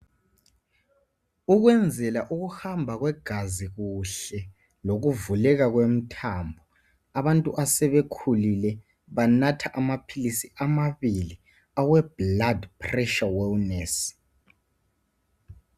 Ukwenzela ukuhamba kwegazi kuhle lokubukeka kwemithambo abantu asebekhulile banatha amaphilisi amabili awe blood pressure wellness